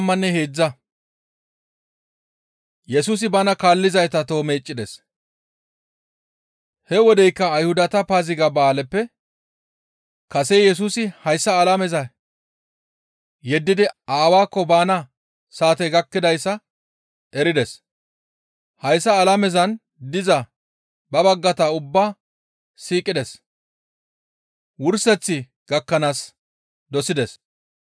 He wodeykka Ayhudata Paaziga ba7aaleppe kase Yesusi hayssa alameza yeddidi ba Aawaakko baana saatey gakkidayssa erides; hayssa alamezan diza ba baggata ubbaa siiqides. Wurseththi gakkanaaska dosides.